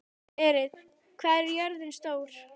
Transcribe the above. Berit, hvað er jörðin stór?